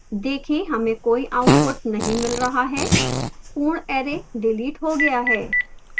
देखें हमें कोई output नहीं मिल रहा है पूर्ण array डिलीट हो गया है